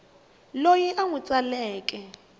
loyi u n wi tsaleke